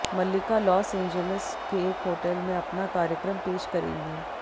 मल्लिका Los Angeles के एक hotel में अपना कार्यक्रम पेश करेंगी